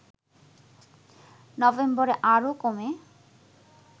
নভেম্বরে আরো কমে